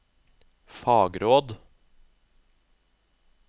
fagråd